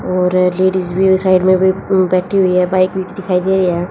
और लेडिज भी उस साइड में भी बैठी हुई है बाइक भी दिखाई दे रही हैं।